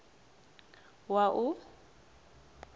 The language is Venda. wua